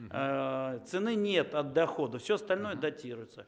цены нет от дохода все остальное датируется